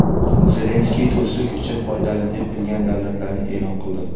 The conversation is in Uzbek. Zelenskiy do‘stlik uchun foydali deb bilgan davlatlarini e’lon qildi.